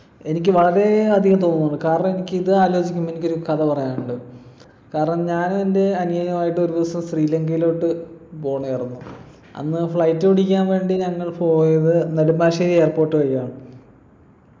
എനിക്ക് വളരെയധികം തോന്നുന്നുണ്ട് കാരണം എനിക്കിത് ആലോചിക്കുമ്പൊ എനിക്കൊരു കഥ പറയാനുണ്ട് കാരണം ഞാൻ എൻ്റെ അനിയനു ആയിട്ടൊരു ദിവസം ശ്രീലങ്കയിലോട്ട് പൊണെ ആരുന്നു അന്ന് flight പിടിക്കാൻ വേണ്ടി ഞങ്ങൾ പോയത് നെടുമ്പാശ്ശേരി airport വഴിയാണ്